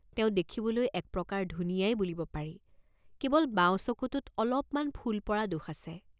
তেওঁ দেখিবলৈ এক প্ৰকাৰ ধুনীয়াই বুলিব পাৰি, কেৱল বাঁও চকুটোত অলপমান ফুল পৰা দোষ আছে।